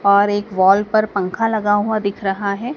और एक वॉल पर पंखा लगा हुआ दिख रहा है।